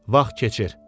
Vaxt keçir.